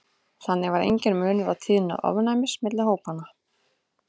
þannig var enginn munur á tíðni ofnæmis milli hópanna